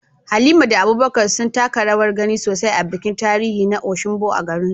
Halima da Abubakar sun taka rawar gani sosai a bikin tarihi na Osogbo a garinsu.